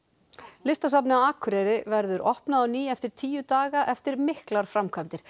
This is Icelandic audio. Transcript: listasafnið á Akureyri verður opnað á ný eftir tíu daga eftir miklar framkvæmdir